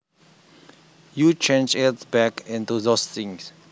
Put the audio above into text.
You change it back into those things